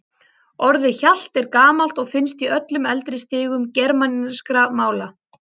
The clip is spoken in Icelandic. Orðið hjalt er gamalt og finnst í öllum eldri stigum germanskra mála.